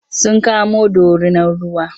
Sun kamo dorinar ruwa.